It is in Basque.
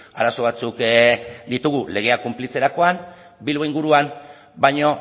arazo batzuk ditugu legea kunplitzerakoan bilbo inguruan baino